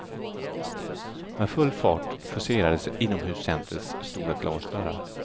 Med full fart forcerades inomhuscentrets stora glasdörrar.